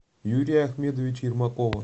юрия ахмедовича ермакова